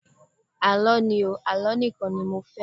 Àlọ́ ni o, Àlọ́ nìkan ni mo fẹ́.